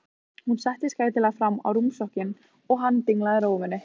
Hún settist gætilega fram á rúmstokkinn og hann dinglaði rófunni.